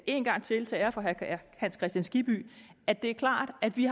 en gang til til ære for herre hans kristian skibby at det er klart at vi